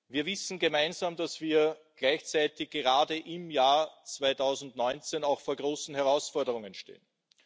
Wir wissen alle, dass wir gleichzeitig gerade im Jahr 2019 vor großen Herausforderungen stehen.